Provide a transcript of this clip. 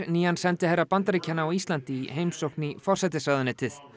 nýjan sendiherra Bandaríkjanna á Íslandi í heimsókn í forsætisráðuneytið